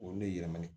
Olu ne yɛlɛmani